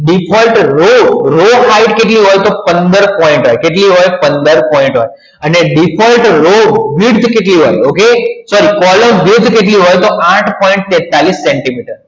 default row height કેટલી હોય તો પંદર point હોય કેટલી હોય પંદર point હોય અને default કેટલી હોય ઓકે તોઆઠ point તેતાલીસ સેન્ટીમીટર